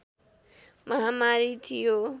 महामारी थियो